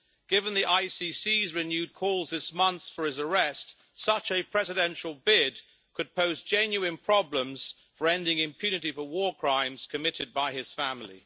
Given the ICC's renewed calls this month for his arrest, such a presidential bid could pose genuine problems for ending impunity for war crimes committed by his family.